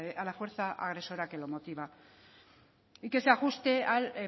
a la fuerza agresora que lo motiva y que se ajuste al